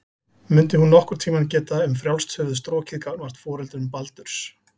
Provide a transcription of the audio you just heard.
Mundi hún nokkurn tíma geta um frjálst höfuð strokið gagnvart foreldrum Baldurs?